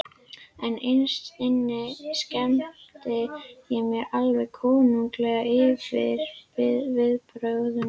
En innst inni skemmti ég mér alveg konunglega yfir viðbrögðunum.